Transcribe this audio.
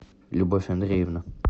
любовь андреевна